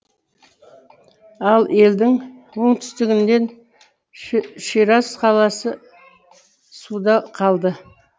ал елдің оңтүстігінен шираз қаласы суда қалды